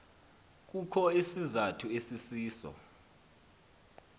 kukho isizathu esisiso